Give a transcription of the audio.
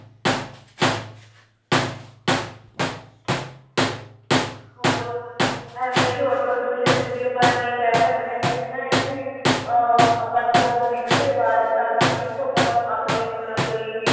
ਹੋਰ ਐਵੇਂ ਸ਼ੋਰ ਪ੍ਰਦੂਸ਼ਨ ਚ ਵੀ ਆਪਾਂ ਐਵੇਂ ਹੀ ਕਹਿ ਸਕਦੇ ਹਾਂ ਕਿ ਹਨਾ ਇਹਨੂੰ ah ਆਪਾਂ ਨੂੰ ਬਹੁਤ limit ਆਵਾਜ਼ ਤਾਂਕਿ ਸਿਰਫ ਆਪਾਂ ਨੂੰ ਆਪਣੇ ਸੁਣਨ ਲਈ ਹੀ